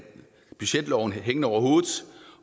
budgetloven hængende over hovedet